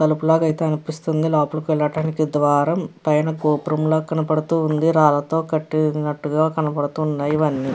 తలుపు లాగా అయితే అనిపిస్తుంది లోపలికి వెళ్ళటానికి ద్వారం పైన గోపురం లా కనపడుతుంది రాళ్ళతో కట్టినట్టుగా కనపడుతున్నాయి ఇవన్నీ.